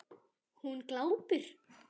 Hún glápir.